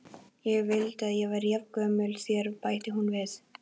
Ég vildi að ég væri jafngömul þér, bætir hún við.